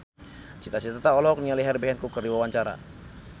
Cita Citata olohok ningali Herbie Hancock keur diwawancara